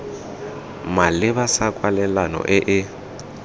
maleba sa kwalelano e e